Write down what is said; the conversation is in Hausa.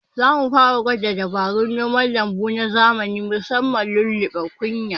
Zamu fara gwada dabarun noman lambu na zamani musamman lulluɓe kunya